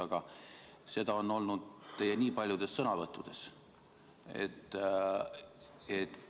Aga seda on olnud teie nii paljudes sõnavõttudes.